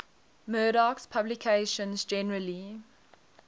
murdoch's publications generally